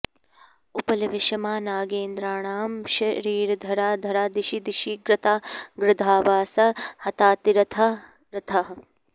उपलविषमा नागेन्द्राणां शरीरधरा धरा दिशि दिशि कृता गृध्रावासा हतातिरथा रथाः